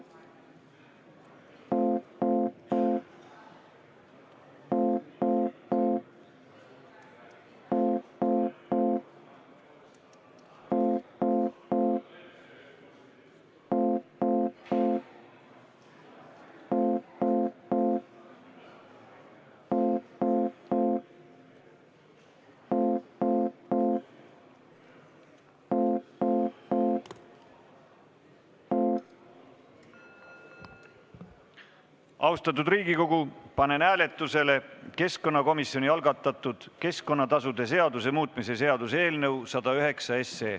Austatud Riigikogu, panen hääletusele keskkonnakomisjoni algatatud keskkonnatasude seaduse muutmise seaduse eelnõu 109.